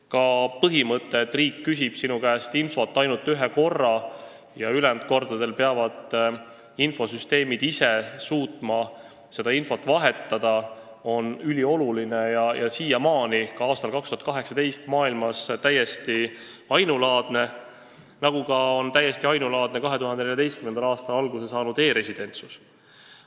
Ka põhimõte, et riik küsib sinu käest infot ainult ühe korra ja ülejäänud kordadel peavad infosüsteemid ise suutma seda infot vahetada, on ülioluline ja siiamaani, ka aastal 2018, maailmas täiesti ainulaadne, nagu on täiesti ainulaadne ka 2014. aastal alguse saanud e-residentsus.